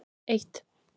eitt